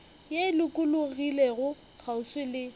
ye e lokologilego kgauswi le